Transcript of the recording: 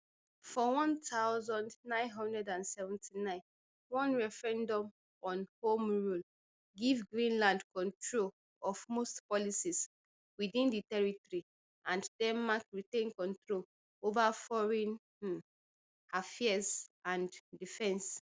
for one thousand, nine hundred and seventy-nine one referendum on home rule give greenland control of most policies within di territory and denmark retain control over foreign um affairs and defence